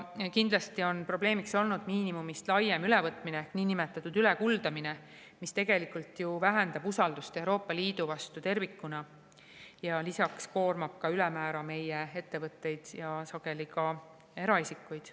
Kindlasti on probleemiks olnud miinimumist laiem ülevõtmine, niinimetatud ülekuldamine, mis tegelikult ju vähendab usaldust Euroopa Liidu vastu tervikuna ja lisaks koormab ülemäära meie ettevõtteid ja sageli ka eraisikuid.